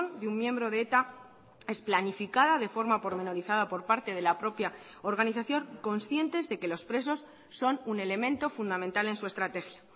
de un miembro de eta es planificada de forma pormenorizada por parte de la propia organización conscientes de que los presos son un elemento fundamental en su estrategia